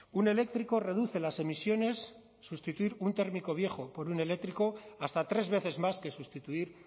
un eléctrico reduce las emisiones sustituir un térmico viejo por un eléctrico hasta tres veces más que sustituir